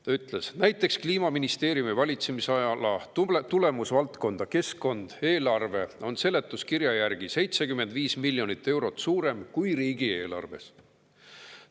Ta ütles: "Näiteks kliimaministeeriumi valitsemisala tulemusvaldkonna "Keskkond" eelarve on seletuskirja järgi 75 miljonit eurot suurem kui riigieelarves.